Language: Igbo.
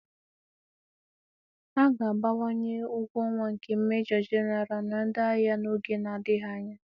A ga-abawanye ụgwọ ọnwa nke Mejọ Genaral na ndị agha n'oge na-adịghị anya